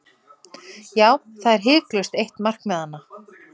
Já, það er hiklaust eitt markmiðanna.